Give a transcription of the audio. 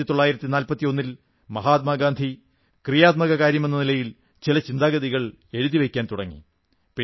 1941 ൽ മഹാത്മാ ഗാന്ധി ക്രിയാത്മക കാര്യമെന്ന നിലയിൽ ചില ചിന്താഗതികൾ എഴുതി വയ്ക്കാൻ തുടങ്ങി